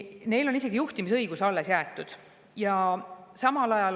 Neile on isegi juhtimisõigus alles jäetud.